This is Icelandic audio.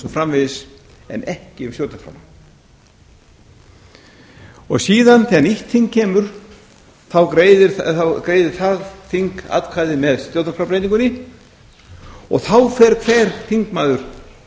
framvegis en ekki um stjórnarskrána síðan þegar nýtt þing kemur þá greiðir það þing atkvæði með stjórnarskrárbreytingunni og þá fer hver þingmaður